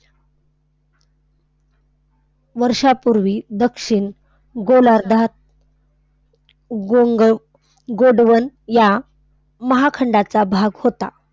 वर्षांपूर्वी दक्षिण गोलार्धात गोंग गोंडवन या महाखंडाचा भाग होता.